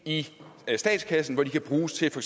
i statskassen hvor de kan bruges til for